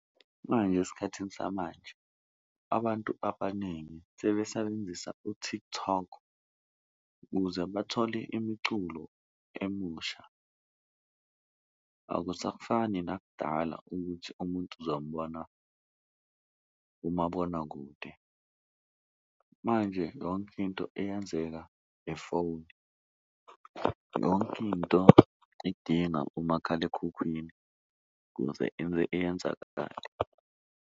Manje esikhathini samanje abantu abaningi sebesebenzisa u-TikTok ukuze bathole imiculo emusha akusafani nakudala ukuthi umuntu uzombona kumabonakude. Manje yonke into iyenzeka ngefoni, yonke into idinga umakhalekhukhwini ukuze iyenzakale.